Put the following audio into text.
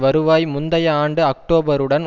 வருவாய் முந்தைய ஆண்டு அக்டோபருடன்